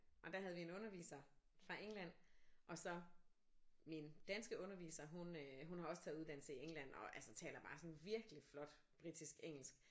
Og der havde vi en underviser fra England og så min danske underviser hun øh hun har også taget uddannesle i England og altså taler bare sådan virkelig flot britisk engelsk